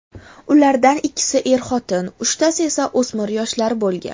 Ulardan ikkisi er-xotin, uchtasi esa o‘smir yoshlar bo‘lgan.